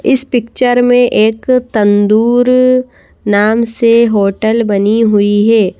इस पिक्चर में एक तंदूर नाम से होटल बनी हुई है।